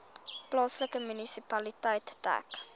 plaaslike munisipaliteit dek